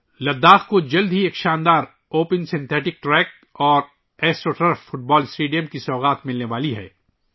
لداخ کو جلد ہی ایک شاندار اوپن سنتھیٹک ٹریک اور astroturf football stadium کا تحفہ ملنے والا ہے